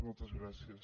moltes gràcies